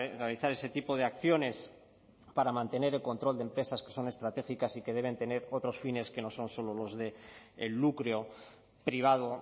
realizar ese tipo de acciones para mantener el control de empresas que son estratégicas y que deben tener otros fines que no son solo los del lucro privado